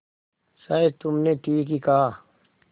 शायद तुमने ठीक ही कहा